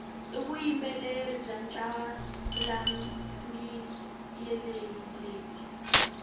ivuyimbeleri bwancalambileyi lebwi